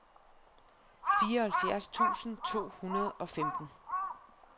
fireoghalvfjerds tusind to hundrede og femten